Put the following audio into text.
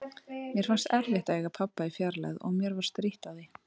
Mér fannst erfitt að eiga pabba í fjarlægð og mér var strítt á því.